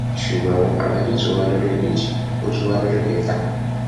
ṣùgbọn aláàjì tún wà lọjọ kejì ó tún wà lọjọ kẹta